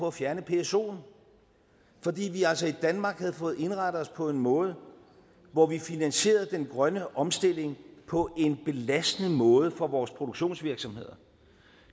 at fjerne psoen fordi vi altså i danmark havde fået indrettet os på en måde hvor vi finansierede den grønne omstilling på en belastende måde for vores produktionsvirksomheder